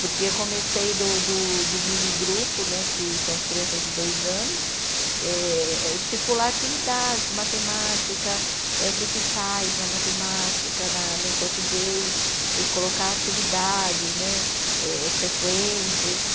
Porque eu comecei do do do mini grupo né, que são as crianças de dois anos, eh eh estipular atividades, matemática, eh o que que faz na matemática, na no português, e colocar atividades né, eh eh sequências.